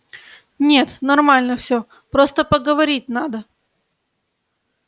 нет нормально всё просто поговорить надо